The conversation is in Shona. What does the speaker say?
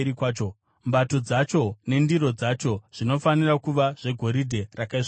Mbato dzacho nendiro dzacho zvinofanira kuva zvegoridhe rakaisvonaka.